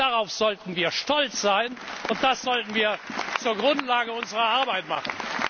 Darauf sollten wir stolz sein, und das sollten wir zur Grundlage unserer Arbeit machen!